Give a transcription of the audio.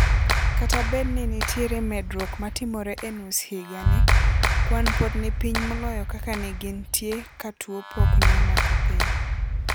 Kata bed ni nitere medruok matimore e nus higa ni, kwan pod nipiny moloyo kaka negin tio ka tuo pok neomako piny.